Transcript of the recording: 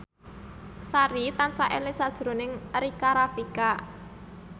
Sari tansah eling sakjroning Rika Rafika